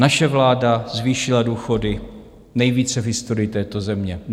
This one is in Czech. Naše vláda zvýšila důchody nejvíce v historii této země.